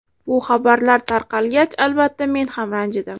Bu xabarlar tarqalgach, albatta men ranjidim.